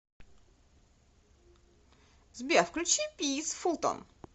сбер включи пис фултон